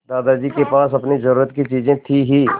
दादाजी के पास अपनी ज़रूरत की चीजें थी हीं